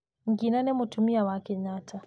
Ngina nĩ mũtumia wa Kenyatta.